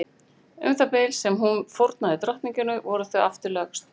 Um það bil sem hún fórnaði drottningunni voru þau aftur lögst.